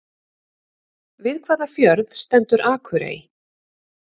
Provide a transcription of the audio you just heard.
Við hvaða fjörð stendur Akurey?